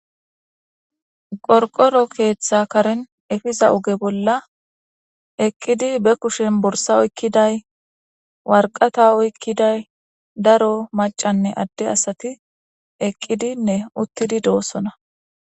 Qorqoro keeththa karen efiza uge bolla eqqidi be kushen borsa oykkiday warqata oykkiday daro macanne adde asati eqqidinne uttidi doossona.